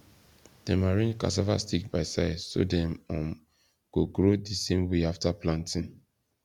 dem arrange cassava stick by size so dem um go grow the same way after planting